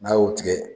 N'a y'o tigɛ